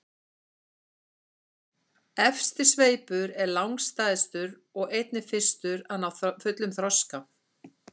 efsti sveipur er langstærstur og einnig fyrstur að ná fullum þroska